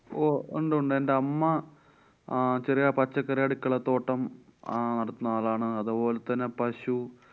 ഓ ഒണ്ട് ഉണ്ട്. എന്‍ടെ അമ്മ ആ ചെറിയ പച്ചക്കറി അടുക്കളത്തോട്ടം അഹ് നടത്തുന്ന ആളാണ്‌. അതുപോലെ തന്നെ പശു